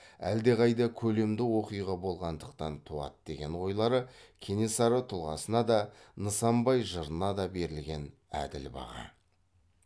әддеқайда көлемді оқиға болғандықтан туады деген ойлары кенесары тұлғасына да нысанбай жырына да берілген әділ баға